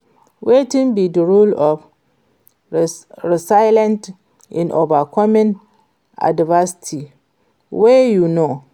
Wetin be di role of resilience in overcoming adversity wey you know?